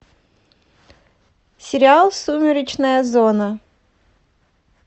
сериал сумеречная зона